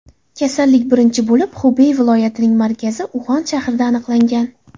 Kasallik birinchi bo‘lib Xubey viloyatining markazi Uxan shahrida aniqlangan.